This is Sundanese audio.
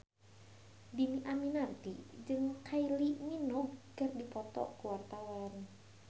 Dhini Aminarti jeung Kylie Minogue keur dipoto ku wartawan